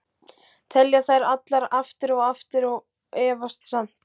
Telja þær allar, aftur og aftur- og efast samt.